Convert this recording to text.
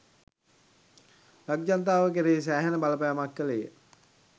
ලක්ජනතාව කෙරෙහි සෑහෙන බලපෑමක් කෙළේය.